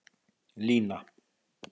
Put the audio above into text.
Lína